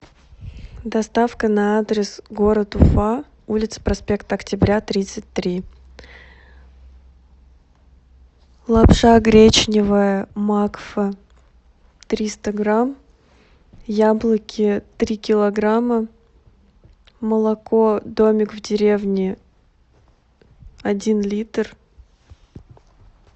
доставка на адрес город уфа улица проспект октября тридцать три лапша гречневая макфа триста грамм яблоки три килограмма молоко домик в деревне один литр